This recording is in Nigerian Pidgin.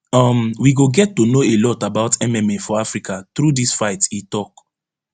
um we go get to know a lot about mma for africa through dis fight e tok